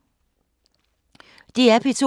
DR P2